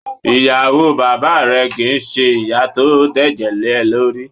Ìyàwó bàbáà rẹ kì í ṣe ìyá tó dẹ̀jẹ̀ léẹ lórí.